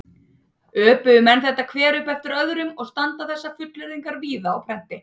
Öpuðu menn þetta hver upp eftir öðrum og standa þessar fullyrðingar víða á prenti.